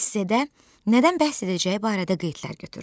Esse-də nədən bəhs edəcəyi barədə qeydlər götür.